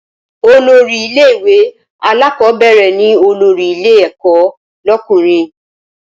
Olórí ilé ìwé alákọ́bẹ̀rẹ̀ ni olórí ilé ẹ̀kọ́ lọ́kùnrin